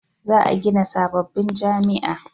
za a gina sabobbin jami'a